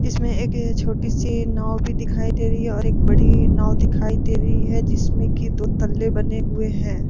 इसमें एक अअ छोटी सी नाव भी दिखाई दे रही है और एक बड़ी नाव दिखाई दे रही है जिसमें की दो तल्ले बने हुए हैं।